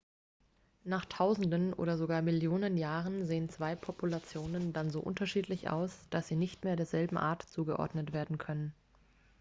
nach tausenden oder sogar millionen jahren sehen zwei populationen dann so unterschiedlich aus dass sie nicht mehr derselben art zugeordnet werden können